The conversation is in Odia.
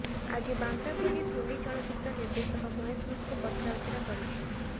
ଆଜି ବାନ୍ଦ୍ରା ପୋଲିସ ହିନ୍ଦୀ ଚଳଚ୍ଚିତ୍ର ନିର୍ଦ୍ଦେଶକ ମହେଶ ଭଟ୍ଟଙ୍କୁ ପଚରାଉଚରା କରିଛି